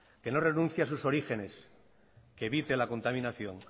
que no renuncie a sus orígenes que evite la contaminación